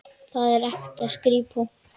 Þar var ekta skrípó.